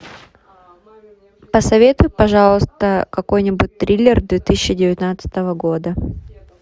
посоветуй пожалуйста какой нибудь триллер две тысячи девятнадцатого года